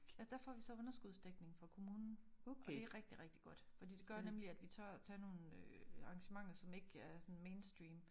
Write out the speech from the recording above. Der får vi så underskudsdækning fra kommunen og det rigtig rigtig godt fordi det gør nemlig at vi tør tage øh nogle arrangementer som ikke er sådan mainstream